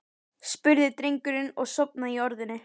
spurði drengurinn og sofnaði í orðinu.